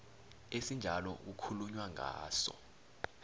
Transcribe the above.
esinjalo kukhulunywa ngaso